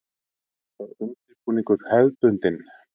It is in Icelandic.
Er undirbúningur hefðbundin?